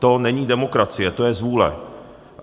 To není demokracie, to je zvůle.